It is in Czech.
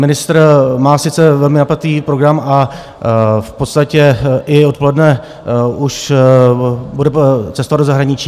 Ministr má sice velmi napjatý program a v podstatě i odpoledne už bude cestovat do zahraničí.